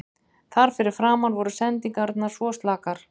Þar fyrir framan voru sendingarnar svo slakar.